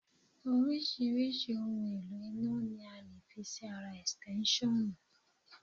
Oríṣiríṣi ohun èlò iná ni a lè fi sí ara Ẹ̀stẹ́nṣọ̀nù.